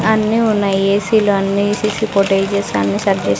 అన్నీ ఉన్నాయి ఏ_సీ లు అన్నీ సీ_సీ ఫుటేజస్ అన్నీ సర్ --